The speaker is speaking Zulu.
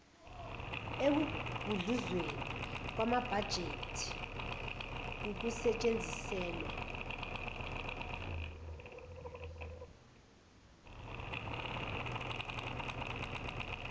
ekugudluzweni kwamabhajethi kukusetshenziselwa